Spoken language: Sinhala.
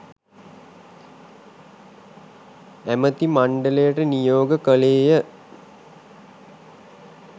ඇමති මණ්ඩලයට නියෝග කළේය.